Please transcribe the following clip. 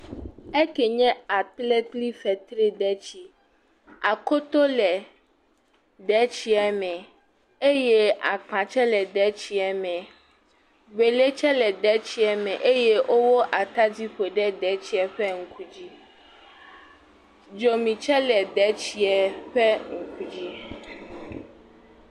Eke nye akple kple fetridetsi, akoto le detsie me, eye akpa tsɛ le me, wele tsɛ le detsie me eye wowó atadi kɔ ƒo ɖe detsie ƒe ŋku dzi, dzomi tsɛ le detsie ƒe ŋku dzi.